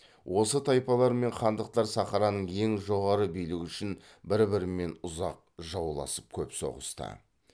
осы тайпалар мен хандықтар сахараның ең жоғары билігі үшін бір бірімен ұзақ жауласып көп соғысты